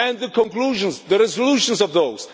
The conclusions, the resolutions of those.